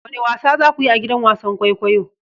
Wane wasa za ku yi a gidan wasan kwaikwayo?